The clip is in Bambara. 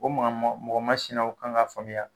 O makamanw, mɔgɔ masinaw kan ka faamuya